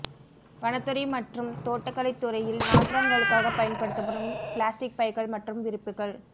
வனத்துறை மற்றும் தோட்டக்கலைத்துறையில் நாற்றாங்காலுக்காக பயன்படுத்தப்படும் பிளாஸ்டிக் பைகள் மற்றும் விரிப்புகள்